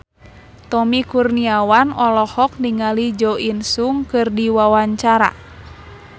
Tommy Kurniawan olohok ningali Jo In Sung keur diwawancara